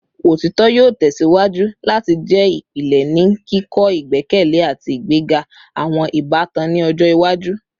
Otitọ yoo tẹsiwaju lati jẹ ipilẹ ni kikọ igbẹkẹle ati igbega awọn ibatan ni ọjọ iwaju